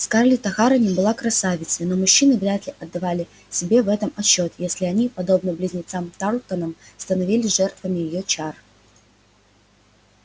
скарлетт охара не была красавицей но мужчины вряд ли отдавали себе в этом отчёт если они подобно близнецам тарлтонам становились жертвами её чар